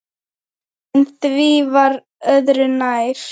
En því var öðru nær.